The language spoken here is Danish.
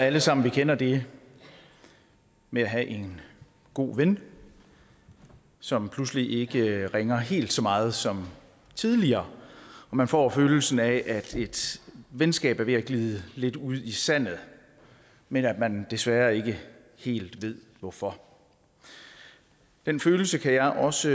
alle sammen kender det med at have en god ven som pludselig ikke ringer helt så meget som tidligere og man får følelsen af at et venskab er ved at glide lidt ud i sandet men at man desværre ikke helt ved hvorfor den følelse kan jeg også